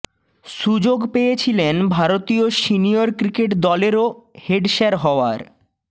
সুযোগ পেয়েছিলেন ভারতীয় সিনিয়র ক্রিকেট দলেরও হেড স্যার হওয়ার